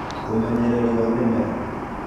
ũmenyererĩ wa mĩmera